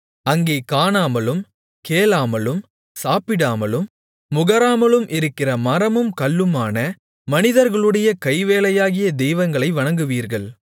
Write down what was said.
அங்கே காணாமலும் கேளாமலும் சாப்பிடாமலும் முகராமலும் இருக்கிற மரமும் கல்லுமான மனிதர்களுடைய கைவேலையாகிய தெய்வங்களை வணங்குவீர்கள்